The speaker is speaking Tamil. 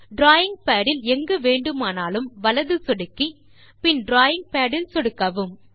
டிராவிங் பாட் இல் எங்கு வேண்டுமானாலும் வலது சொடுக்கி பின் டிராவிங் பாட் இல் சொடுக்கவும்